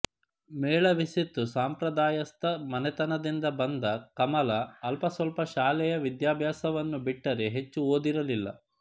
ಮೇಳವಿಸಿತ್ತು ಸಂಪ್ರದಾಯಸ್ಥ ಮನೆತನದಿಂದ ಬಂದ ಕಮಲಾ ಅಲ್ಪಸ್ವಲ್ಪ ಶಾಲೆಯ ವಿದ್ಯಾಭ್ಯಾಸವನ್ನು ಬಿಟ್ಟರೆ ಹೆಚ್ಚು ಓದಿರಲಿಲ್ಲ